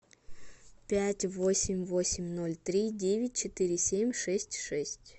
пять восемь восемь ноль три девять четыре семь шесть шесть